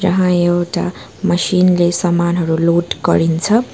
यहाँ एउटा मशिन ले सामानहरू लोड गरिन्छ।